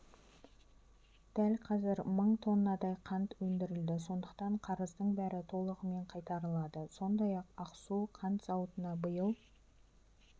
дәл қазір мың тоннадай қант өндірілді сондықтан қарыздың бәрі толығымен қайтарылады сондай-ақ ақсу қант зауытына биыл